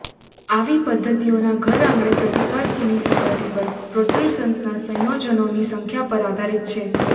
આવી પદ્ધતિઓના ઘરઆંગણેના પ્રતિકાર કીની સપાટી પર પ્રોટ્રુસન્સના સંયોજનોની સંખ્યા પર આધારિત છે